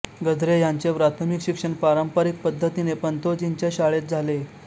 गद्रे ह्यांचे प्राथमिक शिक्षण पारंपरिक पद्धतीने पंतोजींच्या शाळेत झाले